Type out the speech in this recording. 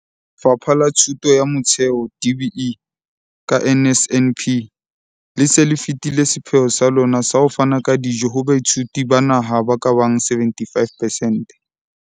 Lefapha la Thuto ya Motheo, DBE, ka NSNP, le se le fetile sepheo sa lona sa ho fana ka dijo ho baithuti ba naha ba ka bang 75 percent.